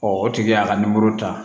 o tigi y'a ka nimoro ta